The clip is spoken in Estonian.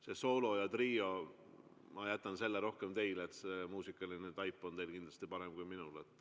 See soolo ja trio – ma jätan selle teile, muusikaline taip on teil kindlasti parem kui minul.